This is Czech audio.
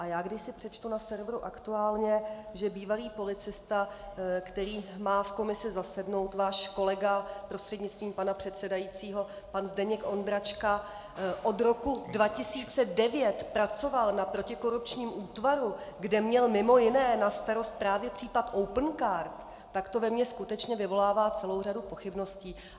A já když si přečtu na serveru Aktuálně, že bývalý policista, který má v komisi zasednout, váš kolega, prostřednictvím pana předsedajícího, pan Zdeněk Ondráček, od roku 2009 pracoval na protikorupčním útvaru, kde měl mimo jiné na starost právě případ Opencard, tak to ve mně skutečně vyvolává celou řadu pochybností.